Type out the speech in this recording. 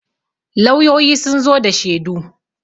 lauyoyi sun zo da shedu